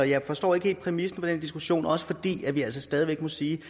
jeg forstår ikke helt præmissen for den diskussion også fordi vi altså stadig væk må sige